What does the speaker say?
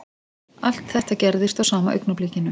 Allt þetta gerðist á sama augnablikinu